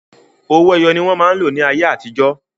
Owó ẹyọ ni wọn máa ń lò ní ayé àtijọ́